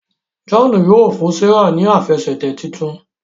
John yíò fún Serah ní Àfẹsẹ̀tẹ̀ títún.